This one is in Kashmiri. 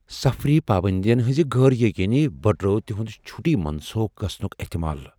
سفری پابندین ہنزِ غٲر یقینی بڈروو تِہُند چھُٹی منسوئخ گژھنُك احتمال ۔